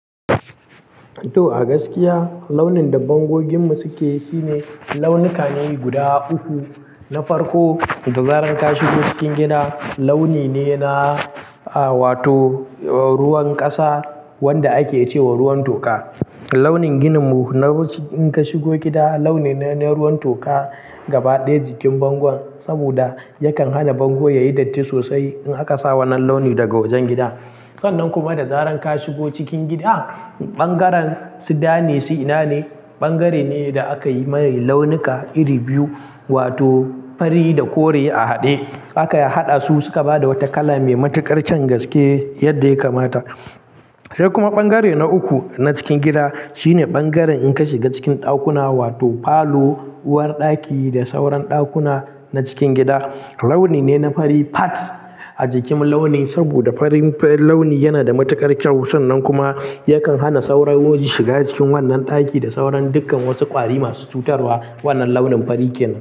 To, a gaskiya launin da bango gidanmu suke shine launuka ne guda uku. Na farko, da zaran ka shigo cikin gida, launi ne na wato ruwan ƙasa wanda ake ce wa ruwan toka. Launin gininmu in ka shigo gida, launi ne na ruwan toka gaba ɗaya jikin bango saboda yakan hana bango ya yi datti sosai in aka sa wannan launi daga wajen gida. Sannan kuma da zaran ka shigo cikin gida, ɓangaren sudanin suna ne, ɓangare ne da aka yi mai launuka iri biyu wato fari da kore a haɗe. Aka haɗa su suka ba da wata kala mai matuƙar kyan gaske yadda ya kamata. Sai kuma ɓangare na uku na cikin gida shine ɓangaren in ka shiga cikin ɗakuna wato falo, uwarɗaki da sauran ɗakuna na cikin gida. Launi ne na fari fat a jikin launi saboda farin launi yana da matuƙar kyau. Sannan kuma yakan hana sauran woji shiga cikin wannan ɗaki da sauran dukkan wasu ƙwari masu cutarwa. Wannan launin fari kenan.